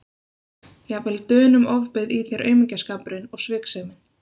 Jafnvel Dönum ofbauð í þér aumingjaskapurinn og sviksemin.